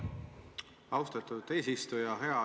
Austatud eesistuja!